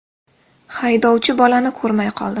Haydovchi bolani ko‘rmay qoldi.